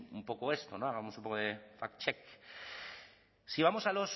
un poco esto hagamos un poco de fact check si vamos